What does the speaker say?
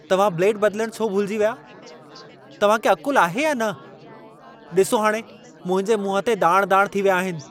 तव्हां ब्लेड बदिलण छो भुलिजी विया? तव्हां खे अक़ुल आहे या न? ॾिसो हाणे मुंहिंजे मुंहं ते दाण-दाण थी विया आहिनि।